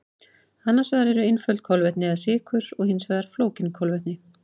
Annars vegar eru einföld kolvetni eða sykur og hins vegar flókin kolvetni.